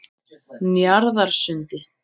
Njarðarsundi